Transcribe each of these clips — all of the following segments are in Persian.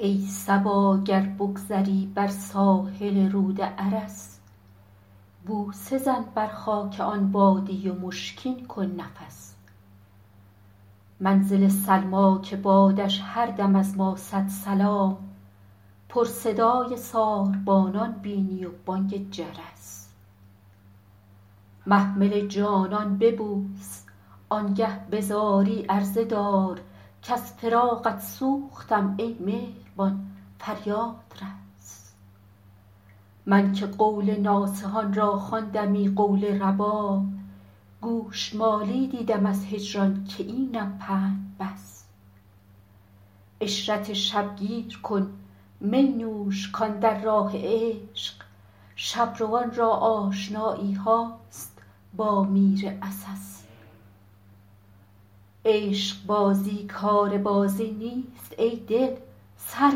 ای صبا گر بگذری بر ساحل رود ارس بوسه زن بر خاک آن وادی و مشکین کن نفس منزل سلمی که بادش هر دم از ما صد سلام پر صدای ساربانان بینی و بانگ جرس محمل جانان ببوس آن گه به زاری عرضه دار کز فراقت سوختم ای مهربان فریاد رس من که قول ناصحان را خواندمی قول رباب گوش مالی دیدم از هجران که اینم پند بس عشرت شب گیر کن می نوش کاندر راه عشق شب روان را آشنایی هاست با میر عسس عشق بازی کار بازی نیست ای دل سر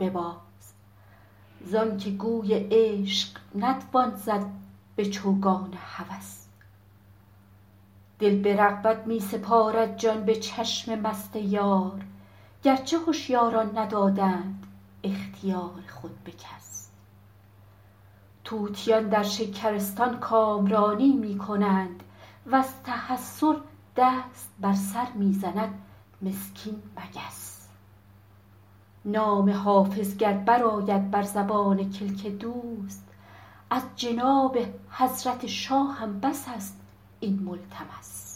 بباز زان که گوی عشق نتوان زد به چوگان هوس دل به رغبت می سپارد جان به چشم مست یار گر چه هشیاران ندادند اختیار خود به کس طوطیان در شکرستان کامرانی می کنند و از تحسر دست بر سر می زند مسکین مگس نام حافظ گر برآید بر زبان کلک دوست از جناب حضرت شاهم بس است این ملتمس